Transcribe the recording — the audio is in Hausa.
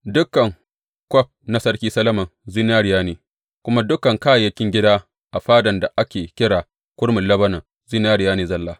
Dukan kwaf na Sarki Solomon zinariya ne, kuma dukan kayayyakin gida a Fadan da ake kira Kurmin Lebanon zinariya ne zalla.